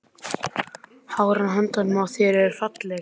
Hárin á höndunum á þér eru falleg.